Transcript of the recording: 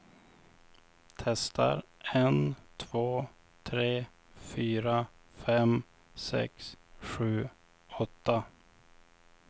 Testar en två tre fyra fem sex sju åtta.